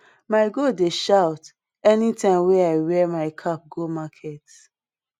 my goat dey shout any time wey i wear my cap go market